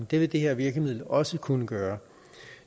det vil det her virkemiddel også kunne gøre